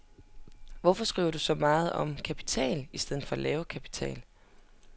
Hvorfor skriver du så meget om kapital i stedet for at lave kapital.